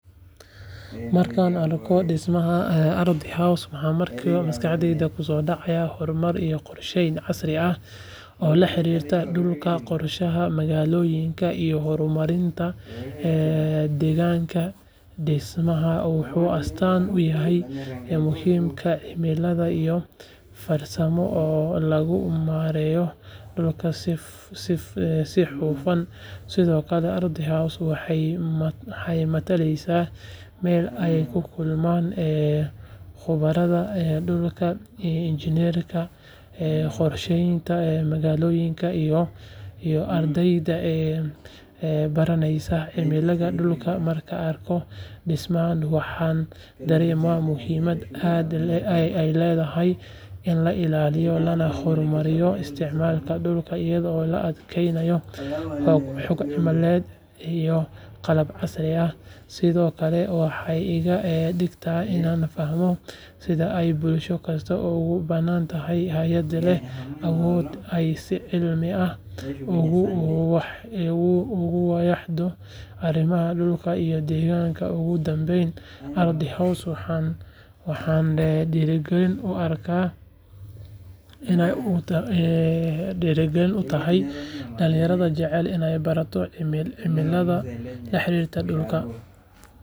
Markaan arko dhismaha ARDHI HOUSE waxa markiiba maskaxdayda ku soo dhacaya horumar iyo qorsheyn casri ah oo la xiriirta dhulka, qorshaha magaalooyinka iyo horumarinta degaanka dhismahan wuxuu astaan u yahay muhiimadda cilmiyeed iyo farsamo ee lagu maareeyo dhulka si hufan sidoo kale ARDHI HOUSE waxay mataleysaa meel ay ku kulmaan khubarada dhulka, injineerada, qorsheeyayaasha magaalooyinka iyo ardayda baranaysa cilmiga dhulka markaan arkayo dhismahan waxaan dareemaa muhiimadda ay leedahay in la ilaaliyo lana horumariyo isticmaalka dhulka iyadoo la adeegsanayo xog cilmiyeed iyo qalab casri ah sidoo kale waxay iga dhigtaa inaan fahmo sida ay bulsho kasta ugu baahan tahay hay’ad leh awood ay si cilmi ah ugu wajahdo arrimaha dhulka iyo deegaanka ugu dambayn ARDHI HOUSE waxay dhiirigelin u tahay dhalinyarada jecel inay bartaan cilmiga la xiriira dhulka.